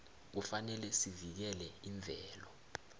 kufanele sivikele imvelo